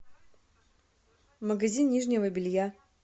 магазин нижнего белья